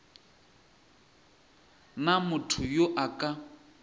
na motho yo a ka